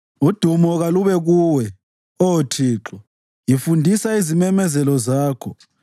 Udumo kalube kuwe, Oh Thixo; ngifundisa izimemezelo zakho.